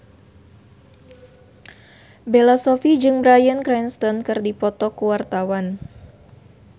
Bella Shofie jeung Bryan Cranston keur dipoto ku wartawan